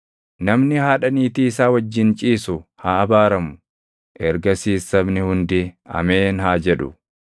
“Namni haadha niitii isaa wajjin ciisu haa abaaramu.” Ergasiis sabni hundi, “Ameen!” haa jedhu.